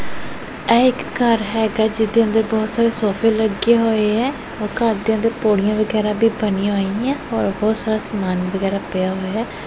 ਇਹ ਇੱਕ ਘਰ ਹੈਗਾ ਜਿਹਦੇ ਅੰਦਰ ਬਹੁਤ ਸਾਰੇ ਸੋਫ਼ੇ ਲੱਗੇ ਹੋਏ ਐ ਔਰ ਘਰ ਦੇ ਅੰਦਰ ਪੌੜੀਆਂ ਵਗੈਰਾ ਵੀ ਬਣੀਆਂ ਹੋਈਆਂ ਔਰ ਬਹੁਤ ਸਾਰਾ ਸਮਾਨ ਵਗੈਰਾ ਪਿਆ ਹੋਇਆ।